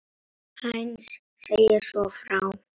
Heinz segir svo frá: